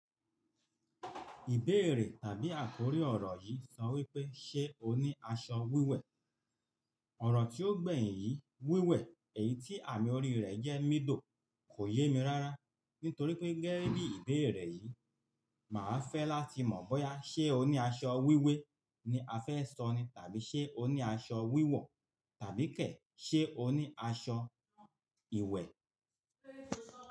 Ìbéèrè àbí àkórí ọ̀rọ̀ yìí sọ wípé, "ṣé o ní aṣọ wíwẹ̀?" Ọ̀rọ̀ tí ó gbẹ̀yìn yìí, "wíwẹ̀", èyí tí àmì orí rẹ̀ jẹ́ mídò kò yé mi rára. Nítorí pé gẹ́gẹ́ bí ìbéèrè yìí, màá fẹ́ láti mọ̀ bóyá ṣe o ní aṣọ wíwé ni a fẹ́ sọ ni tàbí ṣe o ní aṣọ wíwọ̀ tàbí kẹ̀ ṣé o ní aṣọ ìwẹ̀.